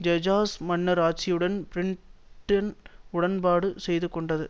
Hejaz மன்னர் ஆட்சியுடன் Britain உடன்பாடு செய்துகொண்டது